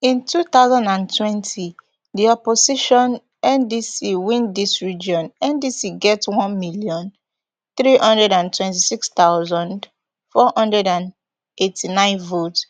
in two thousand and twenty di opposition ndc win dis region ndc get one million, three hundred and twenty-six thousand, four hundred and eighty-nine votes